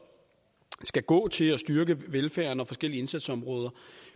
skal gå til at styrke velfærden og forskellige indsatsområder